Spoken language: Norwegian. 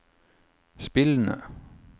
spillende